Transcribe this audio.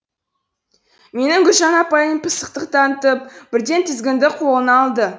менің гүлжан апайым пысықтық танытып бірден тізгінді қолына алды